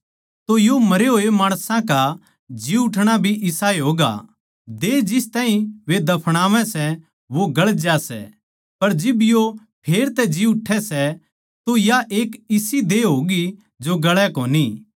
तो यो मरे होए माणसां का जी उठणा भी इसाए होगा देह जिस ताहीं वे दफणावै सै वो गळ जा सै पर जिब यो फेर तै जी उठै सै तो या एक इसी देह होगी जो गळै कोनी